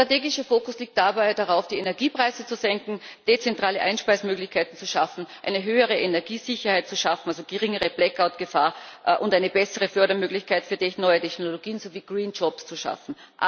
Der strategische Fokus liegt dabei darauf, die Energiepreise zu senken, dezentrale Einspeisemöglichkeiten zu schaffen, eine höhere Energiesicherheit zu schaffen also geringere Blackout Gefahr und eine bessere Fördermöglichkeit für neue Technologien sowie green jobs zu schaffen.